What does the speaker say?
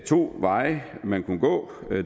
to veje man kunne gå